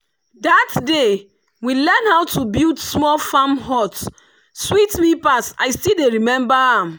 that day we learn how to build small farm hut sweet me pass i still dey remember am.